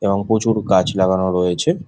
তাও প্রচুর গাছ লাগানো রয়েছে।